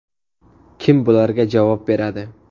Kim bularga javob beradi?